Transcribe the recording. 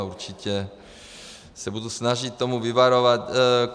A určitě se budu snažit tomu vyvarovat.